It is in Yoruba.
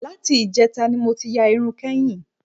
Láti ìjẹta ni mo ti ya irun kẹ́yìn